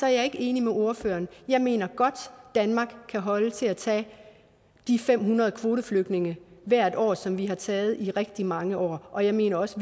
er ikke enig med ordføreren jeg mener godt at danmark kan holde til at tage de fem hundrede kvoteflygtninge hvert år som vi har taget i rigtig mange år og jeg mener også